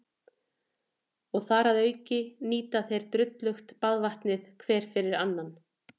Og þar að auki nýta þeir drullugt baðvatnið hver eftir annan.